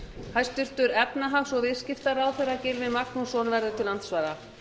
hæstvirtur efnahags og viðskiptaráðherra gylfi magnússon verður til andsvara